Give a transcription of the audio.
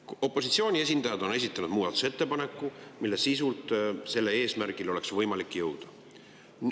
Opositsiooni esindajad on esitanud muudatusettepaneku, millega sisuliselt oleks võimalik selle eesmärgini jõuda.